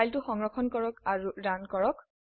ফাইলটি সংৰক্ষণ কৰুন আৰু ৰান কৰক